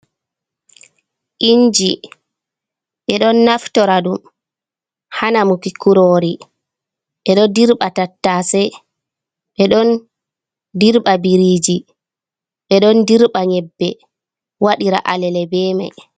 Inji ɓe don naftora dum hanamuki kurori be do dirba tattase be don dirba biriji ɓe don dirba nyebbe waɗira alele be mai.